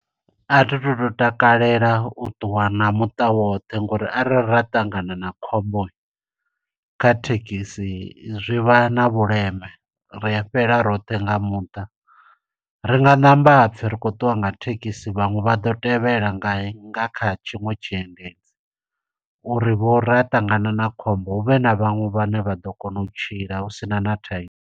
A thi tu to takalela u ṱuwa na muṱa woṱhe ngo uri arali ra ṱangana na khombo kha thekhisi, zwivha na vhuleme. Ri a fhela roṱhe nga muṱa, ri nga ṋamba hapfi ri khou ṱuwa nga thekhisi, vhaṅwe vha ḓo tevhela ngae nga kha tshiṅwe tshiendedzi. Uri vho ra ṱangana na khombo hu vhe na vhaṅwe vhane vha ḓo kona u tshila husina na thaidzo.